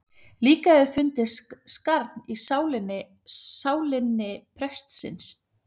Líka hefur fundist skarn í sálinni prestsins.